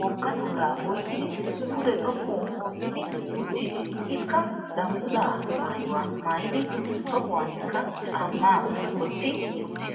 woga tooraa oyqqidi [pude xoqqu ootidi uttiis, ikka danguzzaa maayuwa maayiddi tohuwankka caamaa wotti uttiis.